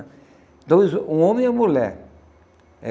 um homem e a mulher.